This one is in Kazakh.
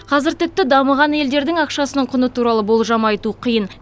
қазір тіпті дамыған елдердің ақшасының құны туралы болжам айту қиын